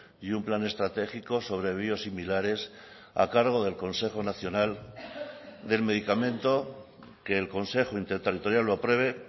y un plan estratégico sobre biosimilares a cargo del consejo nacional del medicamento que el consejo interterritorial lo apruebe